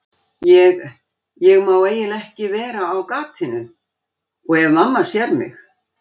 Ég, ég má eiginlega ekki vera á gatinu. og ef mamma sér mig.